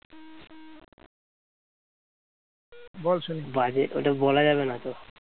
ওইটা বলা যাবে না তো